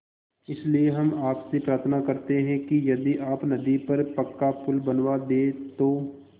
इसलिए हम आपसे प्रार्थना करते हैं कि यदि आप नदी पर पक्का पुल बनवा दे तो